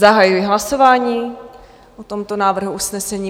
Zahajuji hlasování o tomto návrhu usnesení.